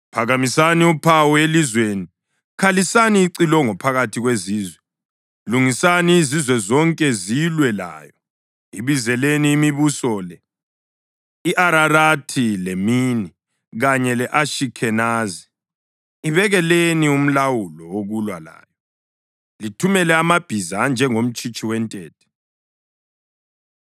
“Phakamisani uphawu elizweni! Khalisani icilongo phakathi kwezizwe! Lungisani izizwe ukuba zilwe layo; ibizeleni imibuso le: i-Ararathi leMini kanye le-Ashikhenazi. Ibekeleni umlawuli wokulwa layo; lithumele amabhiza anjengomtshitshi wentethe.